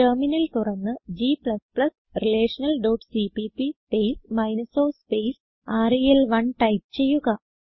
terminal തുറന്ന് g relationalസിപിപി space minus o space റെൽ1 ടൈപ്പ് ചെയ്യുക